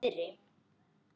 Hún sefur niðri.